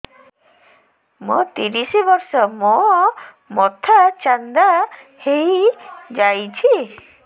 ମୋ ତିରିଶ ବର୍ଷ ମୋ ମୋଥା ଚାନ୍ଦା ହଇଯାଇଛି